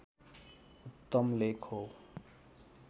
उत्तम लेख हो